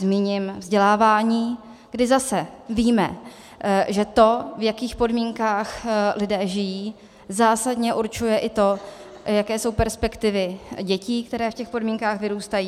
Zmíním vzdělávání, kdy zase víme, že to, v jakých podmínkách lidé žijí, zásadně určuje i to, jaké jsou perspektivy dětí, které v těch podmínkách vyrůstají.